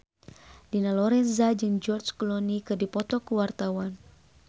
Dina Lorenza jeung George Clooney keur dipoto ku wartawan